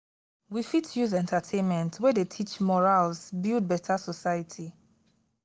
we fit use entertainment wey dey teach morals build beta society.